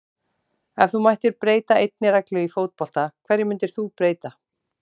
Ef þú mættir breyta einni reglu í fótbolta, hverju myndir þú breyta?